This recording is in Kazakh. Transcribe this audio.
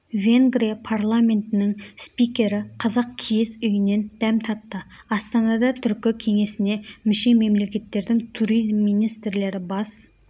венгрия парламентінің спикері қазақ киіз үйінен дәм татты астанада түркі кеңесіне мүше мемлекеттердің туризм министрлері бас